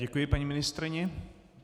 Děkuji paní ministryni.